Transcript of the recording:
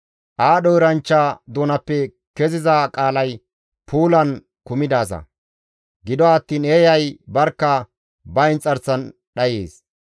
Aadho eranchchaa doonappe keziza qaalay puulan kumidaaza; gido attiin eeyay barkka ba inxarsan dhayees.